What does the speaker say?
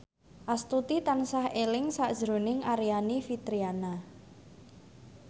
Astuti tansah eling sakjroning Aryani Fitriana